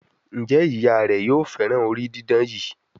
Njé Ìyá rẹ yóò féràn orí didán yí?